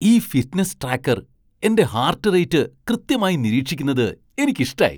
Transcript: ഈ fitness tracker എന്റെ heart rate കൃത്യമായി നിരീക്ഷിക്കുന്നത് എനിക്കിഷ്ടായി.